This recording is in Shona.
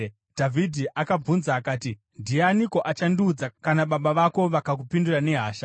Dhavhidhi akabvunza akati, “Ndianiko achazondiudza kana baba vako vakakupindura nehasha?”